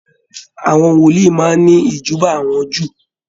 Àwọn wòlíì máa n ni ijuba awọn Júù.